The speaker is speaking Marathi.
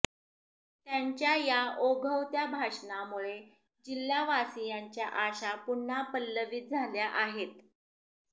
त्यांच्या या ओघवत्या भाषणामुळे जिल्हावासीयांच्या आशा पुन्हा पल्लवीत झाल्या आहेत